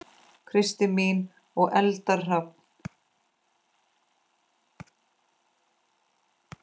Kristín mín og Eldar Hrafn.